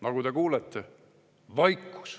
Nagu te kuulete – vaikus.